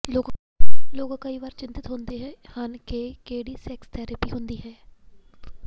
ਲੋਕ ਕਈ ਵਾਰ ਚਿੰਤਤ ਹੁੰਦੇ ਹਨ ਕਿ ਕਿਹੜੀ ਸੈਕਸ ਥੈਰੇਪੀ ਹੁੰਦੀ ਹੈ